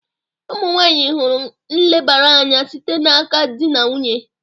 Ụmụ nwanyị hụrụ nlebara anya site n'aka di na nwunye